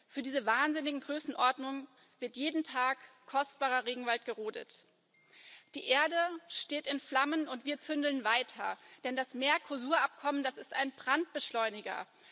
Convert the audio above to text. Für diese wahnsinnigen Größenordnungen wird jeden Tag kostbarer Regenwald gerodet. Die Erde steht in Flammen, und wir zündeln weiter, denn das Mercosur Abkommen ist ein Brandbeschleuniger.